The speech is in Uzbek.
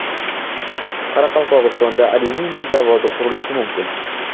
Qoraqalpog‘istonda alyuminiy zavodi qurilishi mumkin.